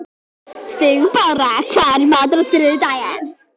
Sigurbára, hvað er í matinn á þriðjudaginn?